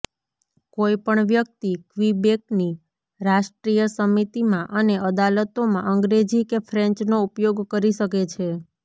કોઈપણ વ્યક્તિ ક્વિબેકની રાષ્ટ્રીય સમિતિમાં અને અદાલતોમાં અંગ્રેજી કે ફ્રેન્ચનો ઉપયોગ કરી શકે છે